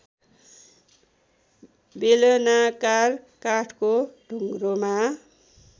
बेलनाकार काठको ढुङ्ग्रोमा